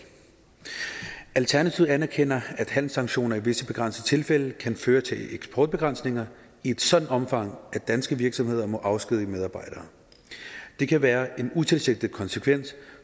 alternativet anerkender at handelssanktioner i visse begrænsede tilfælde kan føre til eksportbegrænsninger i et sådant omfang at danske virksomheder må afskedige medarbejdere det kan være en utilsigtet konsekvens